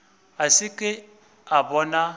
a se ke a bona